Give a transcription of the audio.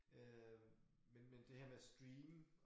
Øh men men det her med stream